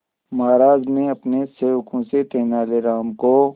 महाराज ने अपने सेवकों से तेनालीराम को